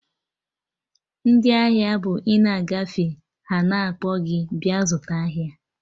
Ndị ahịa bụ ina agafe ha na-akpọ gị bịa zụta ahịa